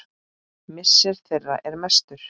Missir þeirra er mestur.